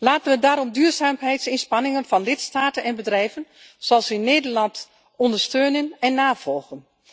Laten we daarom duurzaamheidsinspanningen van lidstaten en bedrijven, zoals in Nederland, ondersteunen en navolgen.